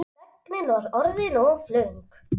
Þögnin var orðin of löng.